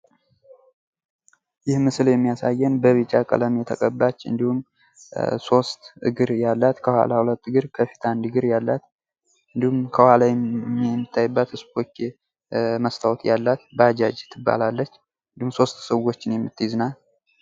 ይህ ምስል የሚያሳየን በቢጫ ቀለም የተቀባች እንዲሁም ሶስት እግር ያላት ባጃጅ ትባላለች ፤ እንዲሁም ሶስት ሰዎችን የምትይዝ ናት።